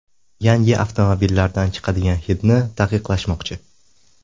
Yangi avtomobillardan chiqadigan hidni taqiqlashmoqchi.